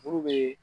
Furu be